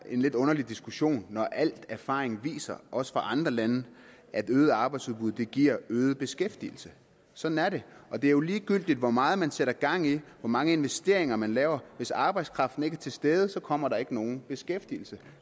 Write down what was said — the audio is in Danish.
en lidt underlig diskussion når al erfaring viser også fra andre lande at øget arbejdsudbud giver øget beskæftigelse sådan er det og det er jo ligegyldigt hvor meget man sætter gang i hvor mange investeringer man laver hvis arbejdskraften ikke er til stede kommer der ikke nogen beskæftigelse